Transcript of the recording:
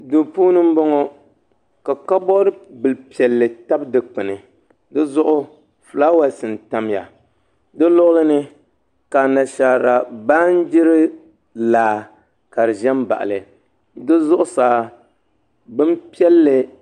Duu puuni n bɔŋɔ ka kabood bili piɛlli tabi dikpuna di zuɣu fulaawɛs n tamya di luɣuli ni ka Anashaara baanjiri laa ka di ʒɛ n baɣali di zuɣusaa bin piɛlli